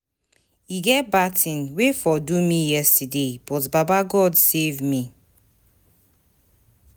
E get bad thing wey for do me yesterday but baba God save me.